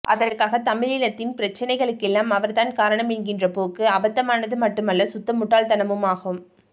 அதற்காக தமிழினத்தின் பிரச்சனைகளுக்கெல்லாம் அவர்தான் காரணம் என்கின்ற போக்கு அபத்தமானது மட்டுமல்ல சுத்த முட்டாள்தனமுமாகும்